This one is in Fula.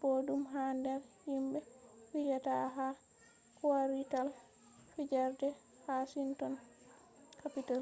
boɗɗum ha nder himɓe fijata ha kwarital fijerde washinton kapital